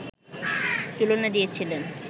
তুলনা দিয়েছিলেন